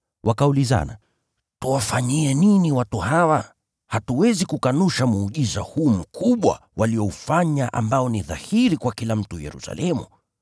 Wakaulizana, “Tuwafanyie nini watu hawa? Hatuwezi kukanusha muujiza huu mkubwa walioufanya ambao ni dhahiri kwa kila mtu Yerusalemu.